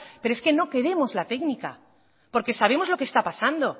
pero es que no queremos la técnica porque sabemos lo que está pasando